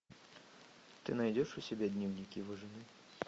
ты найдешь у себя дневник его жены